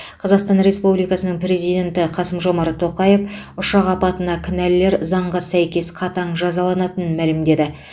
қазақстан республикасының президенті қасым жомарт тоқаев ұшақ апатына кінәлілер заңға сәйкес қатаң жазаланатынын мәлімдеді